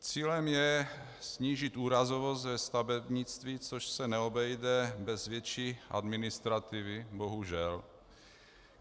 Cílem je snížit úrazovost ve stavebnictví, což se neobejde bez větší administrativy, bohužel.